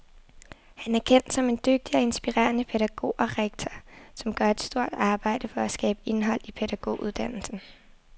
Han er kendt som en dygtig og inspirerende pædagog og rektor, som gør et stort arbejde for at skabe indhold i pædagoguddannelsen.